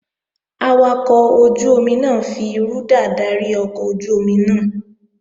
Awakọ̀ ojú-omi náà fi rúdà dárí ọkọ̀ ojú-omi náà